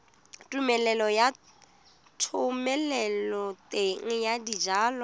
tumelelo ya thomeloteng ya dijalo